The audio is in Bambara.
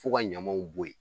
F'u ka ɲamaw bɔ yen